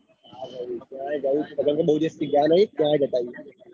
બૌ દિવસ પીવડાય નઈ ક્યાંય જતા રાઈશુ.